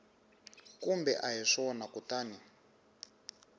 kumbe a hi swona kutani